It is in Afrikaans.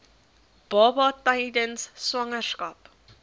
baba tydens swangerskap